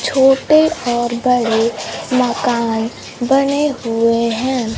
छोटे और बड़े मकान बने हुए हैं।